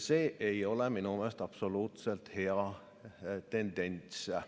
See ei ole minu meelest absoluutselt hea tendents.